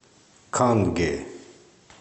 канге